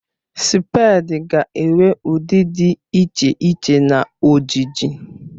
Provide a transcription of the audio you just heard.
Spèdi ga-enwe ụdị dị iche iche na ojiji